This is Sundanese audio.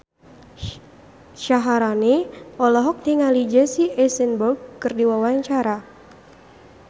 Syaharani olohok ningali Jesse Eisenberg keur diwawancara